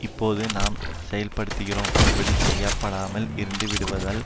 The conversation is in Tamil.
இப்போது நாம் செயல்படுகிறோம் இப்படி செயல்படாமல் இருந்துவிடுவதால்